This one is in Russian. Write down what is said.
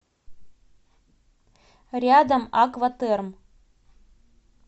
рядом аква терм